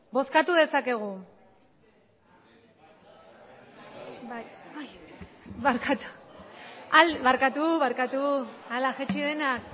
barkatu barkatu barkatu ala jaitsi denak